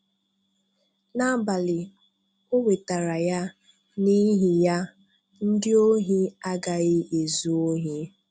N’ábálị, ò nwètàrà ya, n’ihi ya, ndị ọ̀hì agaghị ezu òhì.